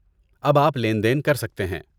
اب آپ لین دین کر سکتے ہیں